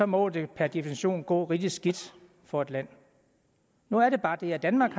må det per definition gå rigtig skidt for et land nu er der bare det at danmark